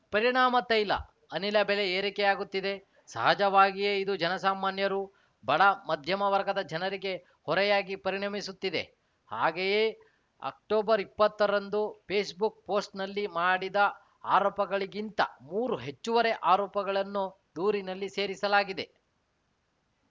ಪರಿಣಾಮ ತೈಲ ಅನಿಲ ಬೆಲೆ ಏರಿಕೆಯಾಗುತ್ತಿದೆ ಸಹಜವಾಗಿಯೇ ಇದು ಜನ ಸಾಮಾನ್ಯರು ಬಡ ಮಧ್ಯಮ ವರ್ಗದ ಜನರಿಗೆ ಹೊರೆಯಾಗಿ ಪರಿಣಮಿಸುತ್ತಿದೆ ಹಾಗೆಯೇ ಅಕ್ಟೊಬರ್ ಇಪ್ಪತ್ತರಂದು ಪೇಸ್ಬುಕ್ ಪೋಸ್ಟ್ ನಲ್ಲಿ ಮಾಡಿದ ಆರೋಪಗಳಿಗಿಂತ ಮೂರು ಹೆಚ್ಚುವರಿ ಆರೋಪಗಳನ್ನು ದೂರಿನಲ್ಲಿ ಸೇರಿಸಲಾಗಿದೆ